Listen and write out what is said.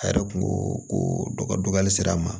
A yɛrɛ kun ko ko dɔ ka dɔgɔ hali sira ma